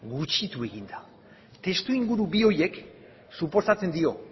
gutxitu egin da testu inguru bi horiek suposatzen dio